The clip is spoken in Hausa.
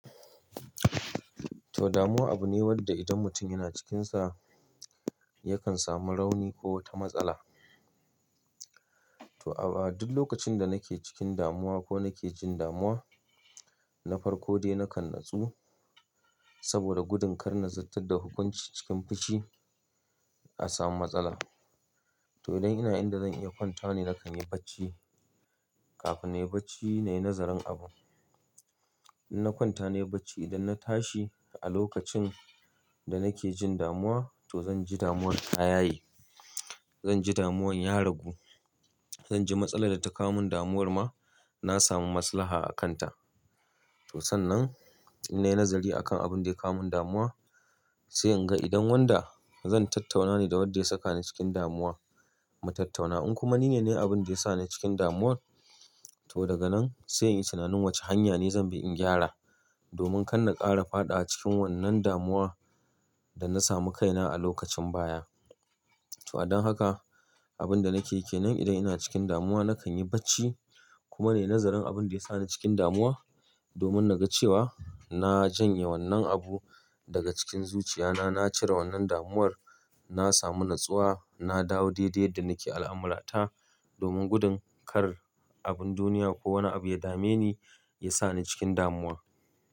To, damuwa abu ne wanda idan mutum yana cikinsa yakan samu rauni ko wata matsala. To a duk lokacin da nake cikin damuwa ko nake jin damuwa, na farko dai nakan natsu saboda gudun kar nazartar da hukunci cikin fushi a samu matsala. To idan ina inda zan iya kwanta ne nakan yi bacci kafin na yi bacci na yi nazarin abun. In na kwanta na yi bacci idan na tashi a lokacin da nake jin damuwa to zan ji damuwar ta yaye. Zan ji damuwar ya ragu. Zan ji matsalar da ta kawo min damuwar ma na samu maslaha a kanta. To sannan in nayi nazari akan abun da ya kawo min damuwa sai in ga idan wanda zan tattauna ne da wadda ya saka ni cikin damuwa mu tattauna. In kuma ni ne na yi abin da ya sa ni cikin damuwar to daga nan sai in yi tunanin wace hanya ne zan bi in gyara domin kar na ƙara faɗawa cikin wannan damuwar da na samu kaina a lokacin baya. To a don haka abin da nake ke nan idan ina cikin damuwa nakan yi bacci kuma na yi nazarin abin da ya sa ni cikin damuwa domin na ga cewa na janye wannan abu daga cikin zuciya na, na cire wannan damuwar, na samu natsuwa, na dawo daidai yadda nake al'amurata domin gudun kar abin duniya ko wani abu ya dame ni, ya sa ni cikin damuwa.